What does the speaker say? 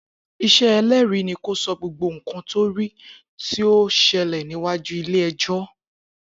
Isẹ ẹlẹ́rìí ni kó sọ gbogbo nkan to ri ti ọ ṣẹlẹ̀ níwájú ilé ẹjọ́